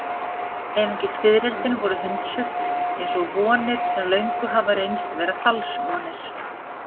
Einungis fiðrildin voru hundsuð, eins og vonir sem löngu hafa reynst vera falsvonir.